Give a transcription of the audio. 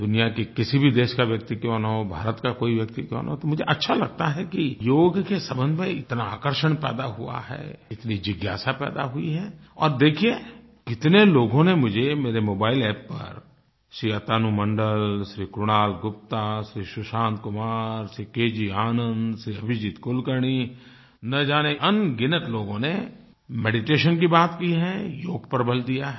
दुनिया के किसी भी देश का व्यक्ति क्यों न हो भारत का कोई व्यक्ति क्यों न हो तो मुझे अच्छा लगता है कि योग के संबंध में इतना आकर्षण पैदा हुआ है इतनी जिज्ञासा पैदा हुई है और देखिये कितने लोगों ने मुझे मेरे मोबाइल App पर श्री अतनु मंडल श्री कुणाल गुप्ता श्री सुशांत कुमार श्री के जी आनंद श्री अभिजीत कुलकर्णी न जाने अनगिनत लोगों ने मेडिटेशन की बात की है योग पर बल दिया है